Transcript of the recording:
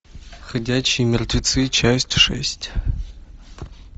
ходячие мертвецы часть шесть